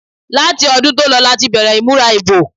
Láti ọdún tó lọ láti bẹ̀rẹ̀ ìmúra ìbò.